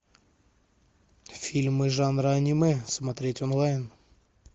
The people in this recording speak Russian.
фильмы жанра аниме смотреть онлайн